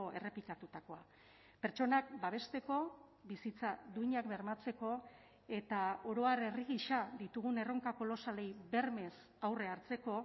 errepikatutakoa pertsonak babesteko bizitza duinak bermatzeko eta oro har herri gisa ditugun erronka kolosalei bermez aurre hartzeko